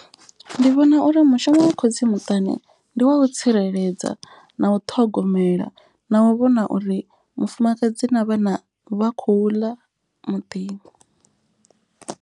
Ndi vhona uri mushumo wa khotsi muṱani ndi wa u tsireledza, na u ṱhogomela na u vhona uri mufumakadzi na vhana vha khou ḽa muḓini.